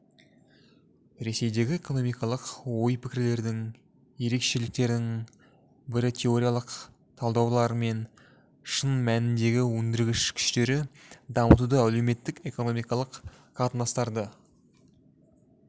ресейдегі экономикалық ой-пікірлердің ерекшеліктерінің бірі теориялық талдаулар мен шын мәніндегі өндіргіш күштерді дамытуды әлеуметтік-экономикалық қатынастарды